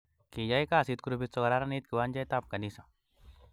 Kiyay kasit grupit sokokararanit kiwanjet ab kanisa